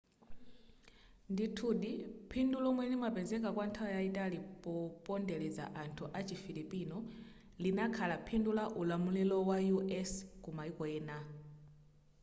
ndithudi phindu lomwe limapezeka kwa nthawi yayitali popondeleza anthu achi filipino linakhala phindu la ulamulilo wa u.s. ku maiko ena